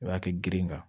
O y'a kɛ girin kan